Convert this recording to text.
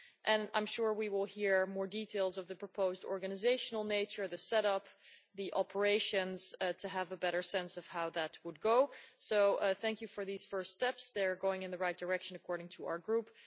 And I am sure we will hear more details of the proposed organisational nature, the set up and operation, in order to have a better sense of how that would go. So thank you for these first steps they are going in the right direction according to our Group.